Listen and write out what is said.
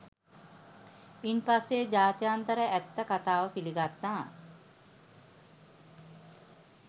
ඉන්පස්සේ ජාත්‍යන්තරය ඇත්ත කතාව පිළිගත්තා